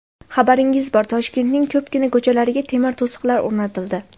Xabaringiz bor Toshkentning ko‘pgina ko‘chalariga temir to‘siqlar o‘rnatildi.